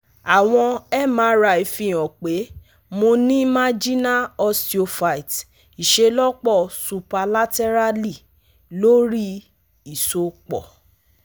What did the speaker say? awọn MRI fihan pe mo ni marginal osteophyte iṣelọpọ superlaterally lori isopọ